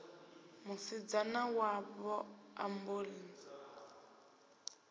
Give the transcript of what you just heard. musidzana wavho a mbo ḓi